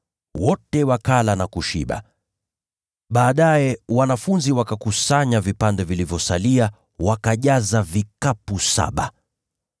Wote wakala na kushiba. Baadaye wanafunzi wakakusanya vipande vilivyosalia, wakajaza vikapu saba.